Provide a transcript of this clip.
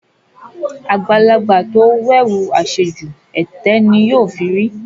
Àgbàlagbà tó wẹ̀wù àṣejù, ẹ̀tẹ́ ni yóò fi rí.